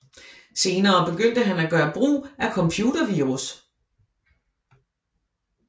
Senere begyndte han at gøre brug af computervirus